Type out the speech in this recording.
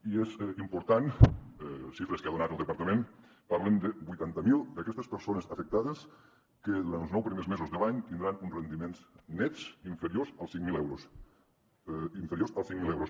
i és important les xifres que ha donat el departament parlen de vuitanta mil d’aquestes persones afectades que durant els nou primers mesos de l’any tindran uns rendiments nets inferiors als cinc mil euros inferiors als cinc mil euros